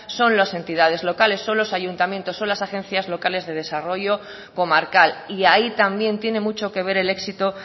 son las entidades locales son los ayuntamientos son las agencias locales de desarrollo comarcal y ahí también tiene mucho que ver el éxito